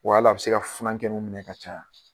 Wa hal'a bɛ se ka funankɛnunw minɛ ka caya